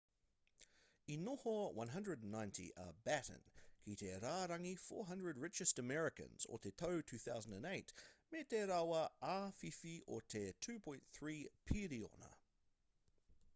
i noho 190 a batten ki te rārangi 400 richest americans o te tau 2008 me te rawa āwhiwhi o te $2.3 piriona